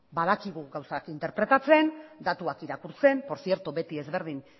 badakigu gauzak interpretatzen datuak irakurtzen por tzierto beti ezberdin